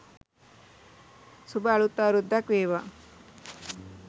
සුභ අලුත් අවුරුද්දක් වේවා